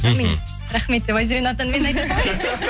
мхм рахмет деп айзеренің атынан мен айта салайын